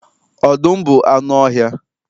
Ọdụm bụ anụ ọhịa